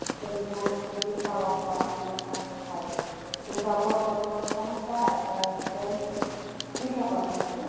Tension অতিরিক্ত চিন্তা ভাবনা এগুলার কারনে হয় কিন্তু আপু আমার তো সমস্যা আপনার হচ্ছে চিন্তা করেন কি,